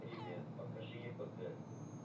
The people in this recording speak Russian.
привет покажи епг